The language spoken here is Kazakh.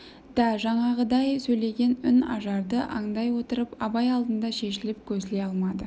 да жаңағыдай сөйлеген үн ажарды аңдай отырып абай алдында шешіліп көсіле алмады